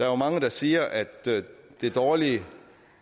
jo mange der siger at det dårlige